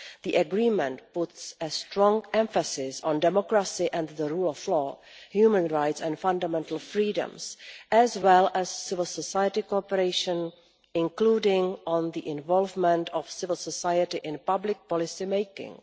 The Agreement puts a strong emphasis on democracy and the rule of law, human rights and fundamental freedoms, as well as civil society cooperation, including on the involvement of civil society in public policy making.